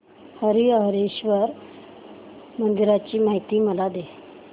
हरीहरेश्वर मंदिराची मला माहिती दे